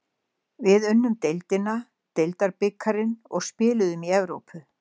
Við unnum deildina, deildabikarinn og spiluðum í Evrópu.